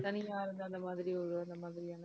தனியா இருந்து அந்த மாதிரி ஒரு ஒரு மாதிரி இருந்து